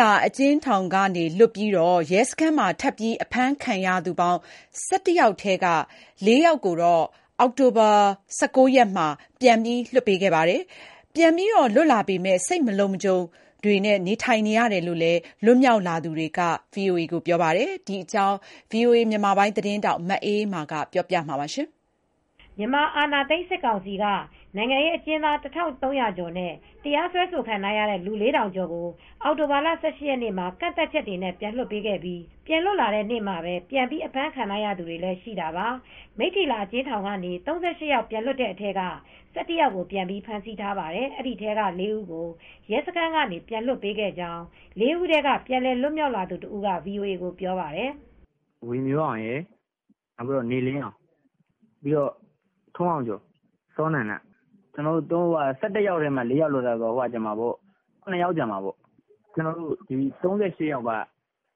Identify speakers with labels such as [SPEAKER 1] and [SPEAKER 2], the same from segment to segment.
[SPEAKER 1] လာအကျဉ်းထောင်က လွတ်ပြီး ရဲစခန်းမှာ ထပ်မံအဖမ်းခံရသူ ၁၁ ယောက်ထဲက ၄ ယောက်ကိုတော့ အောက်တိုဘာလ ၁၉ ရက်နေ့မှာ ပြန်လွှတ်ပေးခဲ့ပါတယ်။ ပြန်လွတ်လာပေမယ့် စိတ်မလုံခြုံမူတွေနဲ့ နေထိုင်နေရတယ်လို့ ပြန်လွတ်မြောက်လာသူတွေက ဆိုပါတယ်။ ဒီသတင်းကို ဗွီအိုအေ သတင်းထောက် မအေးအေးမာက ပြောပြထားပါတယ်။ မြန်မာအာဏာသိမ်း စစ်ကောင်စီက နိုင်ငံရေးအကျဉ်းသား ၁,၃၀၀ ကျော်နဲ့ တရားစွဲဆိုခံထားရတဲ့ လူ ၄,၀၀၀ ကျော်ကို အောက်တိုဘာလ ၁၈ ရက်နေ့မှာ ကန့်သတ်ချက်တွေနဲ့ ပြန်လွတ်ပေးခဲ့ပြီး ပြန်လွတ်လာတဲ့နေ့မှာပဲ ပြန်ပြီး အဖမ်းခံထားရသူတွေ လည်းရှိတာပါ။ မိထ္ထီလာ အကျဉ်းထောင်ကနေ ၃၈ ယောက် ပြန်လွှတ်တဲ့အထဲက ၁၁ ယောက်ကို ပြန်ပြီးဖမ်းဆီးထားပါတယ်။ ဒီထဲက ၄ ဦးကို ရဲစခန်းကနေ ပြန်လွှတ်ပေးခဲ့ကြောင်း ၄ ဦးထဲက ပြန်လည် လွတ်မြောက်လာသူတဦးက VOA ကို ပြောပြပါတယ်
[SPEAKER 2] ။ "ဝေမျိုးအောင်ရယ် နေလင်းအောင် ထွန်းအောင်ကျော် စောနန္ဒ ကျနော်တို့ ၁၁ ယောက်ထဲမှာ ၄ ယောက်။ ကျန်တာက ၇ ယောက် ကျန်သေးတာပေါ့။ ၃၈ ယောက်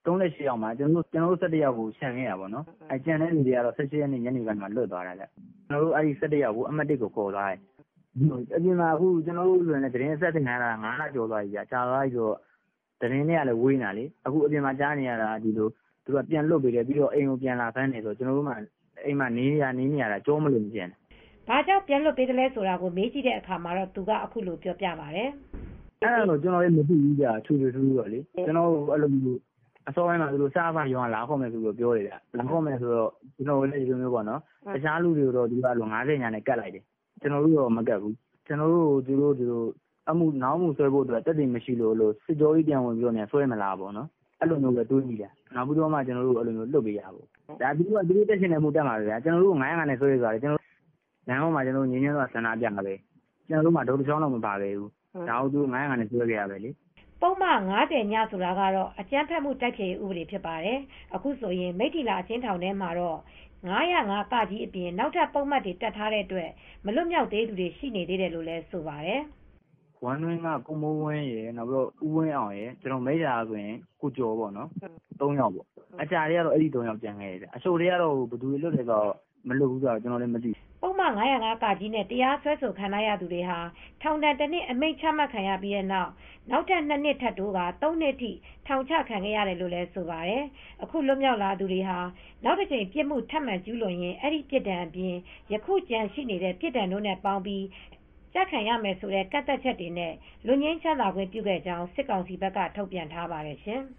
[SPEAKER 2] ထဲမှာ ကျနော်တို့ ၁၁ ယောက်ပဲ ချန်ခဲ့တာပေါ့။ ကျန်တဲ့သူတွေကတော့ ၁၈ ရက်နေ့ထဲကလွတ်သွားပြီ။ ကျနော်တို့ ၁၁ ယောက်ကို အမှတ်(၁) ရဲစခန်
[SPEAKER 1] း
[SPEAKER 2] ထဲ ခေါ်သွားတာပေါ့။ ကျနော်တို့လည်း သတင်းအဆက်သွယ်ပြတ်တာ ၅ လကျော်သွားပြီ သတင်းနဲ့ဝေးနေတာ။ အခုက အပြင်မှာကြားနေရတာက ပြန်လွှတ်ပေးတယ် အိမ်ကိုလာပြန်ဖမ်းတယ်ဆိုလို့ အိမ်မှာသာနေနေရတာ နေရတာ ကျောမလုံဘူးဗျ။"
[SPEAKER 1] ဘာကြောင့် ပြန်လွတ်ပေးသလဲဆိုတာကို မေးကြည့်တဲ့အခါမှာ သူက အခုလိုပြောပြပါတယ်။
[SPEAKER 2] "အဲဒါတွေလည်း ကျနော်တို့က ထွေထွေထူးထူး မသိဘူးဗျ။ ကျနော်တို့ကို အစောပိုင်းမှာ စအဖ(စစ်ဖက်ရေးရာလုံခြုံရေးတပ်ဖွဲ့)က လာခေါ်မယ်လို့ပြောတယ်။ တခြားသူတွေကိုတော့ ၅၀(ည)နဲ့ကပ်လိုက်တယ်ဗျ။ ကျနော်တို့ကိုတော့ မကပ်ဘူး ကျနော်တို့ကိုနောက်အမှုစွဲဖို့အတွက် သက်သေမရှိလို့များ စစ်ကြောရေးကို ပြန်ခေါ်မလားဆိုပြီး အဲဒီလိုတွေးလိုက်မိတယ်။ နောက်မှ အဲဒီလို ပြန်လွှတ်ပေးလိုက်တာပဲ။ သူတို့က တပ်ချင်တဲ့အမှု တပ်တာပဲ။ လမ်းပေါ်မှာ ငြိမ်းချမ်းစွာ ဆန္ဒပြတာပဲလေ။ တုတ်တချောင်းတောင် မပါဘူး၊ အဲဒါကို ၅၀၅ နဲ့ စွဲခဲ့တာပဲလေ။
[SPEAKER 1] သူတို့ကတော့ သူတို့တပ်ချင်တဲ့ပုဒ်မ တပ်တာပဲ။" ပုဒ်မ ၅၀(ည)ဆိုတာကတော့ အကြမ်းဖက်မှု တိုက်ဖျက်ရေးဥပဒေဖြစ်ပါတယ် ။ အခုဆိုရင် မိထ္ထီလာ အကျဉ်းထောင်ထဲမှာတော့ ၅၀၅(က)အပြင် နောက်ထပ် ပုဒ်မတွေ တပ်ထားတဲ့အတွက် မလွတ်သေးသူတွေ ရှိနေသေးတယ်လို့ိဆိုပါတယ်။
[SPEAKER 2] " ဝမ်းတွင်းက ကိုမိုးဝင်းရယ်၊ နောက်ပြီးတော့ ဦးဝင်းအောင်ရယ် မိထ္ထီလာက ကိုကျော်တို့ ကျန်ခဲ့တယ်။ ထောင်ကျထဲက အဲဒီ ၃ ယောက် ကျန်ခဲ့တယ်။ အချုပ်ထဲက ဘယ်သူလွတ်သလဲ မလွတ်ဘူးလည်းဆိုတာ မသိဘူး။
[SPEAKER 1] " ပုဒ်မ ၅၀၅(က) နဲ့ တရားစွဲဆိုခံရသူတွေဟာ ထောင်ဒဏ် ၁နှစ် အမိန်ချခံရပြီးနောက်၊ နောက်ထပ် ၂ နှစ် ထပ်တိုးကာ ၃ နှစ်ထိ ထောင်ချ ခံခဲ့ရတယ်လို့ဆိုပါတယ်။ အခု လွတ်မြောက်လာသူတွေဟာ နောက်တကြိမ် ပြစ်မှု ထပ်မံကျူးလွန်ရင် အဲဒီပြစ်ဒဏ်အပြင် ယခုကျန်ရှိတဲ့ ပြစ်ဒဏ်တို့နဲ့ပေါင်းပြီး ကျခံရမယ်ဆိုတဲ့ ကန့်သတ်ချက်နဲ့ လွတ်ငြိမ်းချမ်းသာခွင့်ပြုခဲ့ကြောင်း၊ စစ်ကောင်စီဘက်က ထုတ်ပြန်ထားပါတယ် ရှင်။